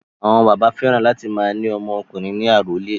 Àwọn bàbá fẹ́ràn láti máa ní ọmọ ọkùnrin ní àrólé.